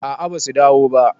a a basu dawo ba